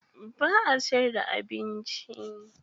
Ba a siyar da abinci.